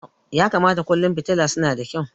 Ya kamata kullum fitila suna da kyau.